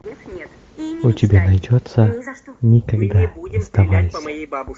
у тебя найдется никогда не сдавайся